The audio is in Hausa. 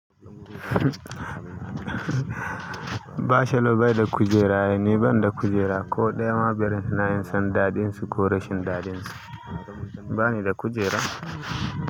Bachelor bai da kujera ne? Ban da kujera ko ɗaya ma balle ma in san daɗin su ko rashin daɗin su. Ba ni da kujera.